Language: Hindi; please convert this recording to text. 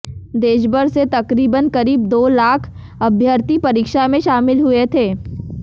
देशभर से तकरीबन करीब दो लाख अभ्यर्थी परीक्षा में शामिल हुए थे